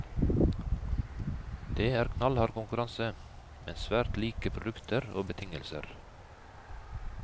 Det er knallhard konkurranse, men svært like produkter og betingelser.